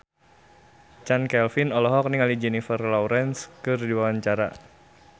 Chand Kelvin olohok ningali Jennifer Lawrence keur diwawancara